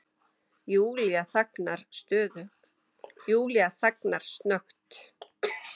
Júlía þagnar snöggt.